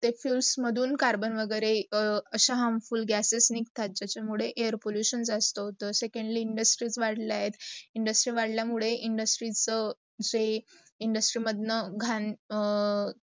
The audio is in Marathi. ते fuels मधून कार्बन वगैरे, असा harmful gases निगतात ज्याचा मुढे air pollution जास्त होतात. secondly, industries वाड्यात. industries वाढलाय मुडे industries मांडला घाण